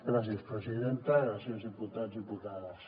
gràcies presidenta gràcies diputats diputades